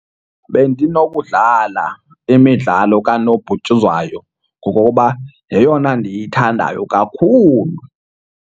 Bendinokuwudlala imidlalo kanobhutyuzwayo ngokokuba yeyona ndiyithandayo kakhulu.